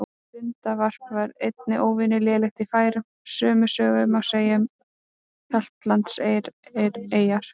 Lundavarp var einnig óvenju lélegt í Færeyjum og sömu sögu má segja um Hjaltlandseyjar.